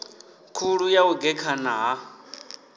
khulu ya u gekhana ha